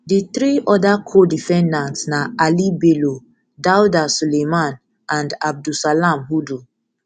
di three oda codefendants na ali bello dauda suleiman and abdulsalam hudu